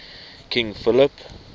king philip